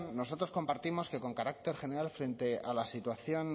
nosotros compartimos que con carácter general frente a la situación